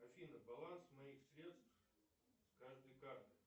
афина баланс моих средств с каждой карты